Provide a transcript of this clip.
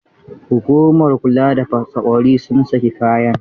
Hukumar kula da fasa ƙwauri sun saki kayan?